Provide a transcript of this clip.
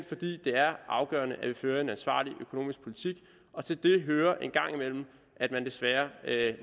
fordi det er afgørende at vi fører en ansvarlig økonomisk politik og til det hører en gang imellem at man desværre